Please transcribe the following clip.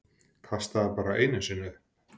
Kastaði bara einu sinni upp.